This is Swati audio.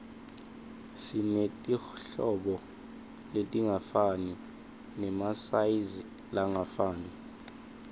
simetirhlobo letingafani nemasayizilangafani